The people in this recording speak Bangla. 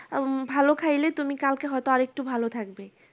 আম ভালো খাইলে তুমি কালকে হয় তো আরেকটু ভালো থাকবে